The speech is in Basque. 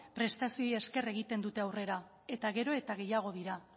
prestazioei esker egiten dute aurrera eta gera eta gehiago dira